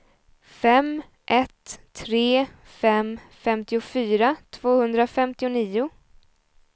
fem ett tre fem femtiofyra tvåhundrafemtionio